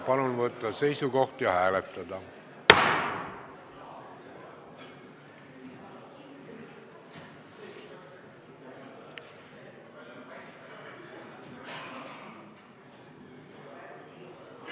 Palun võtta seisukoht ja hääletada!